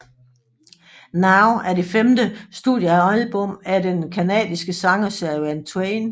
Now er det femte studiealbum af den canadiske sanger Shania Twain